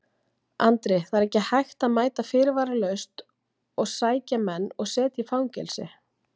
Andri: Það er ekki hægt að mæta fyrirvaralaust og sækja menn og setja í fangelsi?